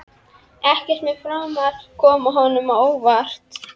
Ekkert mun framar koma honum á óvart.